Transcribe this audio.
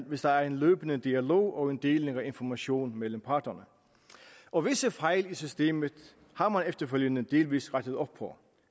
hvis der er en løbende dialog og deling af information mellem parterne og visse fejl i systemet har man efterfølgende delvis rettet op på